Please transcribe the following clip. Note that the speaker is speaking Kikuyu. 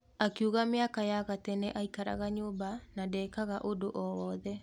Akiuga mĩaka ya ga tene aikaraga nyũmba na ndekaga ũndũ o wothe.